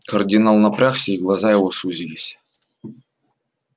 кардинал напрягся и глаза его сузились